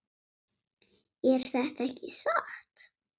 Er þetta ekki satt?